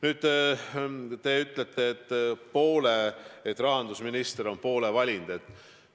Nüüd, te ütlete, et rahandusminister on poole valinud.